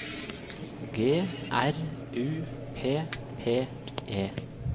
G R U P P E